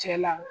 Cɛ la